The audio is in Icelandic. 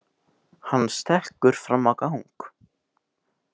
Hann stekkur fram á gang.